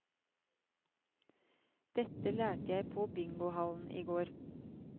Dette lærte jeg på bingohallen i går.